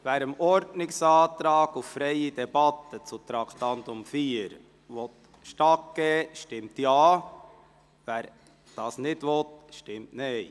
Wer dem Ordnungsantrag zu Traktandum 4 auf freie Debatte stattgeben will, stimmt Ja, wer dies nicht will, stimmt Nein.